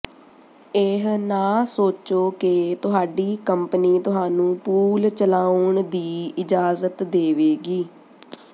ਇਹ ਨਾ ਸੋਚੋ ਕਿ ਤੁਹਾਡੀ ਕੰਪਨੀ ਤੁਹਾਨੂੰ ਪੂਲ ਚਲਾਉਣ ਦੀ ਇਜਾਜ਼ਤ ਦੇਵੇਗੀ